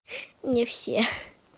не все